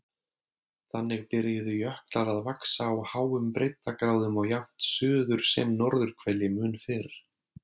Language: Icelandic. Þannig byrjuðu jöklar að vaxa á háum breiddargráðum á jafnt suður- sem norðurhveli mun fyrr.